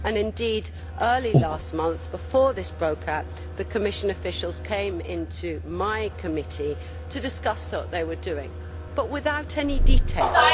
Indeed, early last month, before this broke out, Commission officials came into my committee to discuss what they were doing, but without any details.